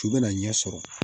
Cu bɛna ɲɛsɔrɔ